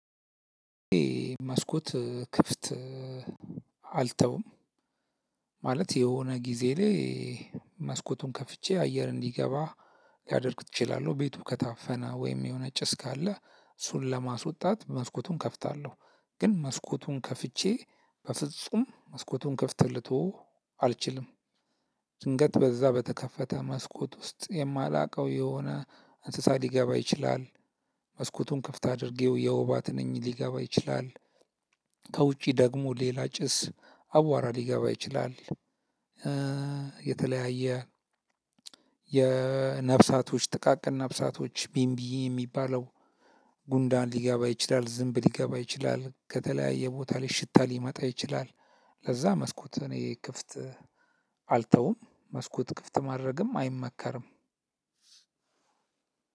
መስኮት ክፍት አልተውም ማለት የሆነ ጊዜ ላይ መስኮቱን ከፍቼ አየር እንዲገባ ሊያደርግ እችላለሁ። ቤቱ ከታፈነ ወይም የሆነ ጭስ ካለ እሱን ለማስወጣት መስኮቱን እከፍታለሁ። ግን መስኮቱን ከፍቼ በፍጹም መስኮቱን ክፍት ልተወው አልችልም። ድንገት በዛ በተከፈተ መስኮት ውስጥ የማላውቀው የሆነ እንስሳ ሊገባ ይችላል። መስኮቱን ክፍት አድርጌው የወባ ትንኝ ሊገባ ይችላል። ከውጪ ደግሞ ሌላ ጭስ አቧራ ሊገባ ይችላል። የተለያየ የነፍሳቶች ጥቃቅን ነፍሳቶች ቢምቢ የሚባለው ጉንዳን ሊገባ ይችላል ዝምብ ሊገባ ይችላል ከተለያየ ቦታ ላይ ሽታ ሊመጣ ይችላል። ለዛ መስኮት እኔ ክፍት አልተውም። መስኮት ክፍት ማድረግም አይመከርም።